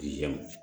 Yan